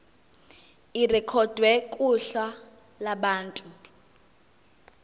irekhodwe kuhla lwabantu